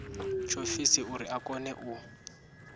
tshiofisi uri a kone u